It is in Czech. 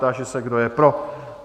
Táži se, kdo je pro?